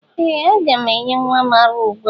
Ee! Aga m enye nwa m ara ugbu a.